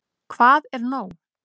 Hvað er nóg?